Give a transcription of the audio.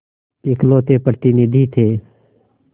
इकलौते प्रतिनिधि थे